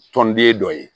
Tɔnden dɔ ye